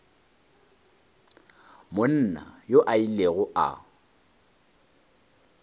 monna yoo o ile a